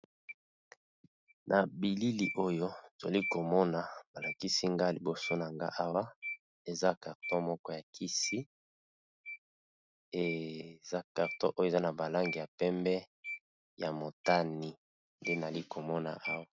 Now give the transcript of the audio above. Na bilili oyo nazalikomona Awa eza carton ya kisi, eza carton oyo eza na ba langi ya pembe na motani.